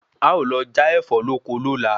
A o lọ já Ẹ̀fọ́ lóko lóla